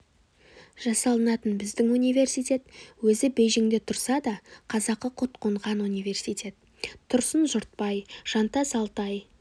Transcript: жасалынатын біздің университет өзі бейжіңде тұрса да қазақы құт қонған университет тұрсын жұртбай жантас алтай